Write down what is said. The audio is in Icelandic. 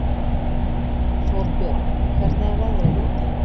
Þórbjörn, hvernig er veðrið úti?